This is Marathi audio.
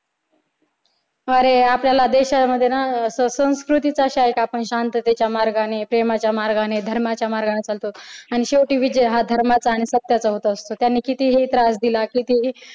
खरे आपल्याला देशामध्ये ना संस्कृतीच्या शांततेच्या मार्गाने प्रेमाच्या मार्गाने धर्माच्या मार्गाने चालतो आणि शेवटी विजय हा धर्माचा आणि सत्याचा होत असतो त्यांनी कितीही त्रास दिला कितीही